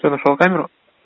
я нашёл камеру